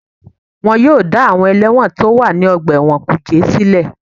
Wọ́n yóò dá àwọn ẹlẹ́wọ̀n tó wà ní ọgbà ẹ̀wọ̀n kùjé sílẹ̀